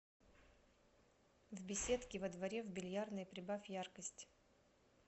в беседке во дворе в бильярдной прибавь яркость